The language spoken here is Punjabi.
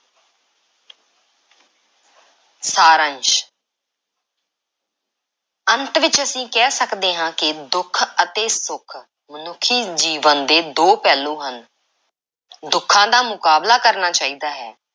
ਸਾਰੰਸ਼ ਅੰਤ ਵਿੱਚ ਅਸੀਂ ਕਹਿ ਸਕਦੇ ਹਾਂ ਕਿ ਦੁੱਖ ਅਤੇ ਸੁੱਖ ਮਨੁੱਖੀ ਜੀਵਨ ਦੇ ਦੋ ਪਹਿਲੂ ਹਨ। ਦੁੱਖਾਂ ਦਾ ਮੁਕਾਬਲਾ ਕਰਨਾ ਚਾਹੀਦਾ ਹੈ,